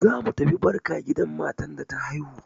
Zamu tafi barka gidan matar da ta haihu.